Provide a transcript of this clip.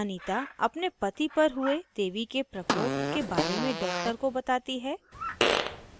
anita अपने पति पर हुए देवी के प्रकोप के बारे में doctor को बताती है